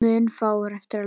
Munu fáir eftir leika.